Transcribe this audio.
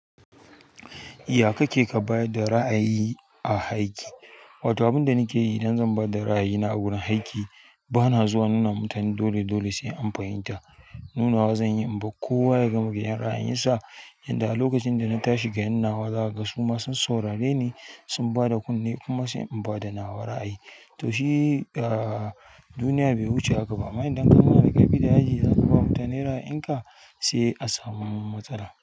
Ya ka ke ka bayar da ra'ayi a aiki? Wato abin da nake yi idan zan ba da ra'ayi na a gurin aiki, bana zuwa innunawa mutane dole dole sai an fahimta. Nuna wa zan yi, in bar kowa ya gama biyan ra'ayin sa. Yanda a lokacin da na tashi gayen nawa, zakaga suma sun saurare ni, sun ba da kunne kuma sai inba da nawa ra'ayi. To shi, duniya bai wuce haka ba. Amma idan kanuna ƙarfi da yaji, za ku ba mutane ra'a yinka, sai a samu matsala.